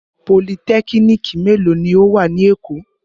Politẹ́kínìkì mélòó ni ó wà ní Èkó?